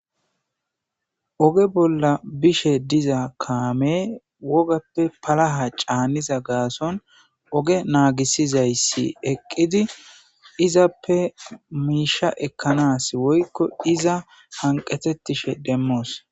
oge bolla bishe diza kaame wogappe palaha caaniza gaason oge naagisizayssi eqqidi izappe miisha ekkanas woykko iza hanqetettishe demmoos